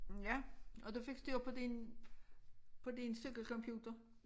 Ja og du fik styr på din på din cykelcomputer'